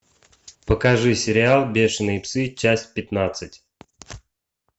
покажи сериал бешеные псы часть пятнадцать